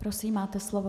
Prosím, máte slovo.